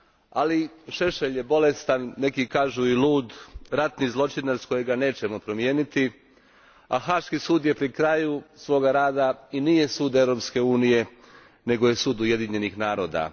Ali, Šešelj je bolestan, neki kažu i lud, ratni zločinac kojega nećemo promijeniti, a Haški sud je pri kraju svoga rada i nije sud Europske unije, nego je sud Ujedinjenih naroda.